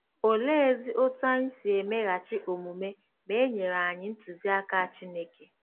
Oleezi otú anyị si emeghachi omume ma e nyere anyị ntụziaka Chineke?